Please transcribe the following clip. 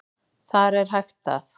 Þar er hægt að